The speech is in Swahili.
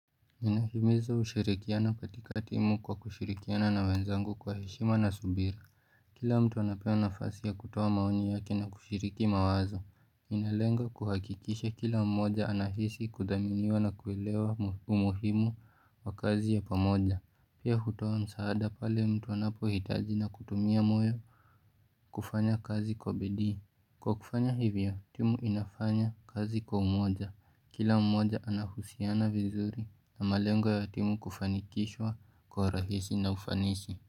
Nahimiza ushirikiana katika timu kwa kushirikiana na wenzangu kwa heshima na subira Kila mtu anapewa nafasi ya kutoa maoni yake na kushiriki mawazo inalenga kuhakikisha kila mmoja anahisi kudhaminiwa na kuelewa umuhimu wa kazi ya pamoja. Pia hutoa msaada pale mtu anapohitaji na kutumia moyo kufanya kazi kwa bidii, Kwa kufanya hivyo, timu inafanya kazi kwa umoja, kila mmoja anahusiana vizuri, na malengwa ya timu kufanikishwa kwa urahisi na ufanisi.